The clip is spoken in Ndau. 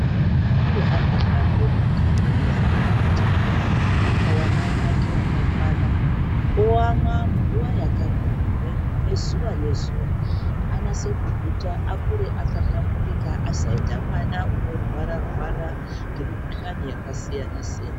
Kuti mwana akure akahlamburuka unofanire kuti awane mukaka wamai vake wakakwana, oyamwa munguva yakakwana zuwa-ngezuwa anase kuguta akure akahlamburuka ,asaite mwana unorwara-rwara nemikhuhlani yakasiyana-siyana.